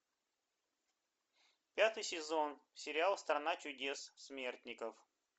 пятый сезон сериал страна чудес смертников